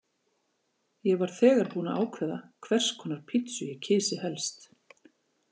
Ég var þegar búin að ákveða hvers konar pitsu ég kysi helst.